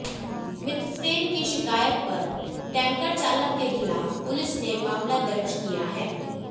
मित्रसेन की शिकायत पर केंटर चालक के खिलाफ पुलिस ने मामला दर्ज किया है